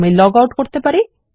আমি log out করতে পারি